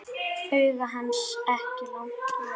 Augu hans ekki lengur rauð.